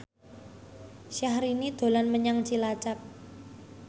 Syahrini dolan menyang Cilacap